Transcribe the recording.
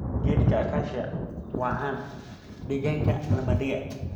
Geedka akasia waa caan deegaanka lamadega.